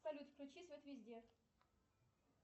салют включи свет везде